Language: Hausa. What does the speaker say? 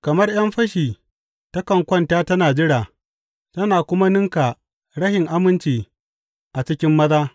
Kamar ’yan fashi, takan kwanta tana jira tana kuma ninka rashin aminci a cikin maza.